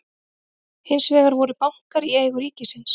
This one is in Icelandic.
hins vegar voru bankar í eigu ríkisins